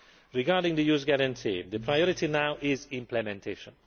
Regarding the Youth Guarantee, the priority now is implementation.